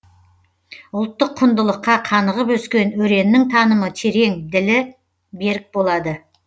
ұлттық құндылыққа қанығып өскен өреннің танымы терең ділі берік болады